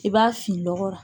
I b'a fin lɔgɔ la